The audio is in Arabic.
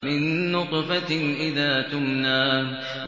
مِن نُّطْفَةٍ إِذَا تُمْنَىٰ